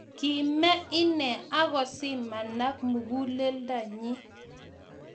Kimee ine, ago zimanak muguleldo nyi